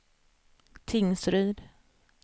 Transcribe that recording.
Tingsryd